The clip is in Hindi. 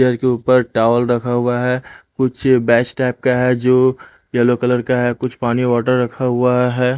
पिलर के ऊपर टावल रखा हुआ है कुछ बैच टाइप का है जो यल्लो कलर का है कुछ पानी वाटर रखा हुआ है ।